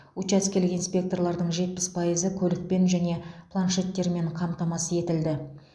учаскелік инспекторлардың жетпіс пайызы көлікпен және планшеттермен қамтамасыз етілді